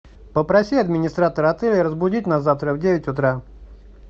попроси администратора отеля разбудить нас завтра в девять утра